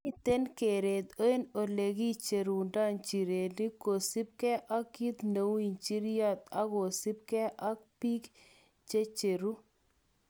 Miten keret eng elekicherundo injirenik kosibge ok kit neu injiryot okosibge ak bik checheru.